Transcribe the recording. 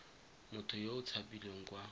motho yo o tshabileng kwa